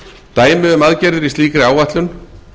dæmi um aðgerðir í slíkri áætlun